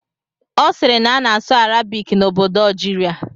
Ọ siiri na a na-asụ Arabik n'obodo Algeria.